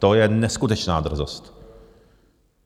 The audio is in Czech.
To je neskutečná drzost!